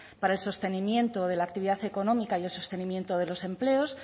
para el sostenimiento de la actividad económica y el sostenimiento de los empleos